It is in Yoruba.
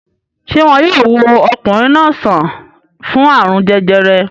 Ṣé wọn yóò wo ọkùnrin náà sàn fún àrùn jẹjẹrẹ?